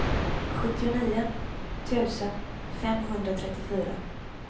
sjuttionio tusen femhundratrettiofyra